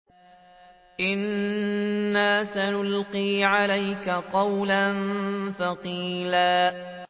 إِنَّا سَنُلْقِي عَلَيْكَ قَوْلًا ثَقِيلًا